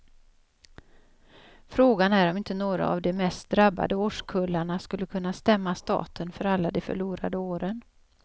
Frågan är om inte några av de mest drabbade årskullarna skulle kunna stämma staten för alla de förlorade åren.